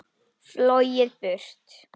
Flogið burt.